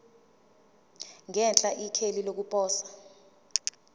ngenhla ikheli lokuposa